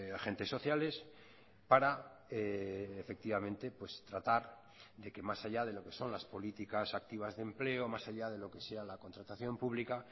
agentes sociales para efectivamente tratar de que más allá de lo que son las políticas activas de empleo más allá de lo que sea la contratación pública